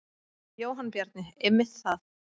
Jóhann Bjarni: Einmitt það.